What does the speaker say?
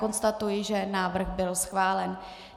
Konstatuji, že návrh byl schválen.